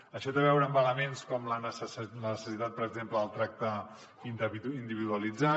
això té a veure amb elements com la necessitat per exemple del tracte individualitzat